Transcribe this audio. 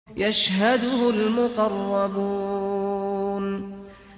يَشْهَدُهُ الْمُقَرَّبُونَ